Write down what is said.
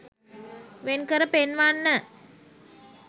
වෙන්කර පෙන්වන්න.